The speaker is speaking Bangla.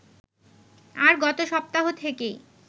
আর গত সপ্তাহ থেকেই